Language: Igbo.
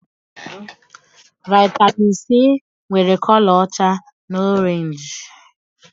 Vaitamin Sii nwèrè kọlọ ọcha na orenji